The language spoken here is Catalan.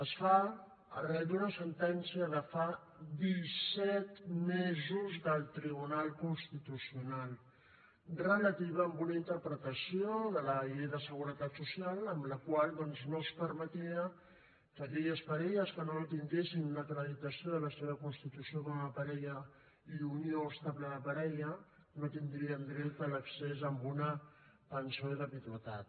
es fa arran d’una sentència de fa dissetmesos del tribunal constitucional relativa a una interpretació de la llei de la seguretat social amb la qual doncs no es permetia que aquelles parelles que no tinguessin una acreditació de la seva constitució com a parella i unió estable de parella no tindrien dret a l’accés a una pensió de viduïtat